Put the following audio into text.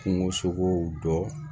Kungosogow dɔ